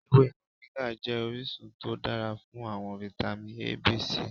Ewe Moringa jẹ orisun to dara fun awọn vitamin A, B, C